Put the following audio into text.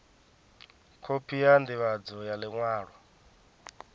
khophi ya ndivhadzo ya liṅwalo